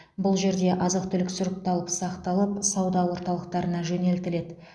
бұл жерде азық түлік сұрыпталып сақталып сауда орталықтарына жөнелтіледі